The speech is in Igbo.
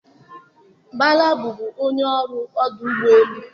Bala bụbu onye ọrụ ọdụ ụgbọ elu.